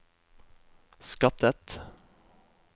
skattet